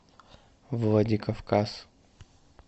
владикавказ